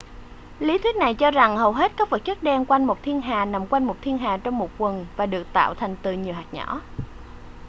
lý thuyết này cho rằng hầu hết các vật chất đen quanh một thiên hà nằm quanh một thiên hà trong một quầng và được tạo thành từ nhiều hạt nhỏ